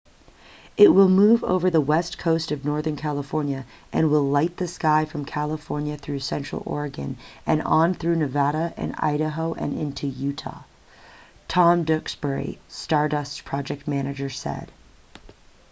it will move over the west coast of northern california and will light the sky from california through central oregon and on through nevada and idaho and into utah tom duxbury stardust's project manager said